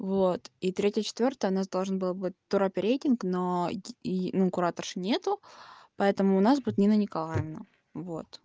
вот и третье четвёртое у нас должен был быть туроперейтинг но ну кураторша нет поэтому у нас будет нина николаевна вот